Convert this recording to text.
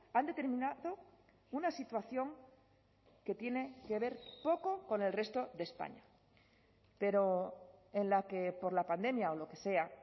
han determinado una situación que tiene que ver poco con el resto de españa pero en la que por la pandemia o lo que sea